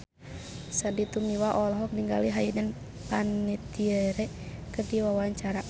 Sandy Tumiwa olohok ningali Hayden Panettiere keur diwawancara